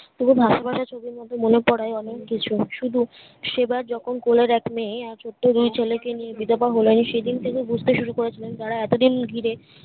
তবে ভাতে ভাতে শুধুমুধু মনে পড়ে অনেক কিছু শুধু সেবার যখুন কুলের এক মেয়ে আর ছোট্ট দুই ছেলেকে নিয়ে বিধবা হলেন সেদিন থেকে বুঝতে শুরু করেছিলেন তারা এতদিন ঘিরে